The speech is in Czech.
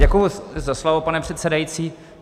Děkuji za slovo, pane předsedající.